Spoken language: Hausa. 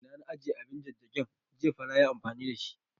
Ina na ajiye abin jajjagin, jiya fa nayi amfani da shi